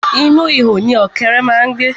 Inú ihò ni ọ̀kẹ́ré má ń gbé.